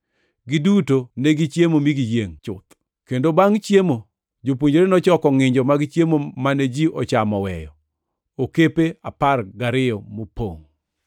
Giduto negichiemo mi giyiengʼ chuth, kendo bangʼ chiemo jopuonjre nochoko ngʼinjo mag chiemo mane ji ochamo oweyo okepe apar gariyo mopongʼ.